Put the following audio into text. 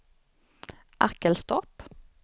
Arkelstorp